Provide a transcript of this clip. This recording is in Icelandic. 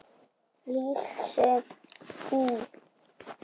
Lísu í